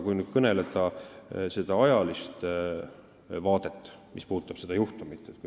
Nüüd sellest ajalisest vaatest, mis puudutab seda juhtumit.